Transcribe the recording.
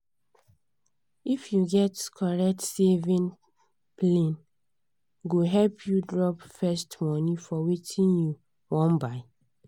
if you get correct saving plane go help you drop first money for wetin you wan buy.